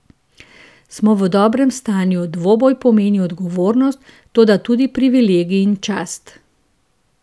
Smo v dobrem stanju, dvoboj pomeni odgovornost, toda tudi privilegij in čast.